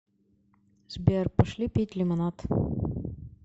сбер пошли пить лимонад